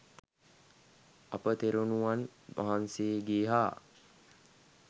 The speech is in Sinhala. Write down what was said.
අප තෙරණුවන් වහන්සේගේ හා